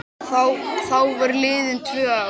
Þá voru liðin tvö ár.